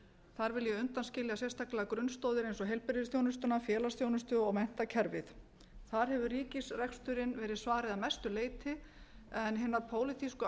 þar vil ég undanskilja sérstaklega grunnstoðir eins og heilbrigðisþjónustuna félagsþjónustu og menntakerfið þar hefur ríkisreksturinn verið svarið að mestu leyti en hinar pólitísku